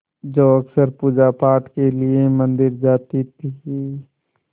जो अक्सर पूजापाठ के लिए मंदिर जाती थीं